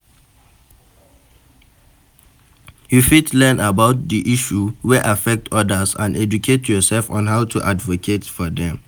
You fit learn about di issue wey affect odas and educate yourself on how to advocate for dem.